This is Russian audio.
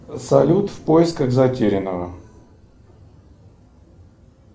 салют в поисках затерянного